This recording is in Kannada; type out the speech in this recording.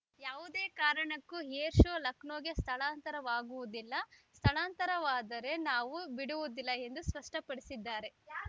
ಯಾವುದೇ ಕಾರಣಕ್ಕೂ ಏರ್ ಶೋ ಲಖನೌಗೆ ಸ್ಧಳಾಂತರವಾಗುವುದಿಲ್ಲ ಸ್ಥಳಾಂತರವಾದರೆ ನಾವು ಬಿಡುವುದಿಲ್ಲ ಎಂದು ಸ್ಪಷ್ಟಪಡಿಸಿದ್ದಾರೆ